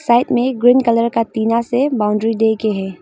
Side मे green colour का टिना से बॉउंड्री दे के है।